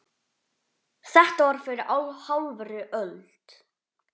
Þetta var fyrir hálfri öld.